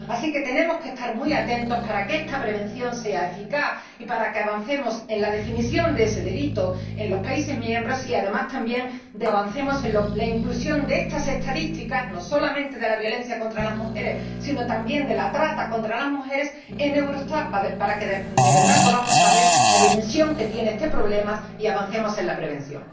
Así que tenemos que estar muy atentos para que esta prevención sea eficaz y para que avancemos en la definición de ese delito en los países miembros y también en la inclusión de estas estadísticas, no solamente de la violencia contra las mujeres sino también de la trata contra las mujeres, en Eurostat, para que de verdad podamos conocer la dimensión de este problema y avancemos en la prevención.